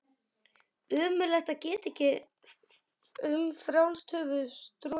Ömurlegt að geta ekki um frjálst höfuð strokið.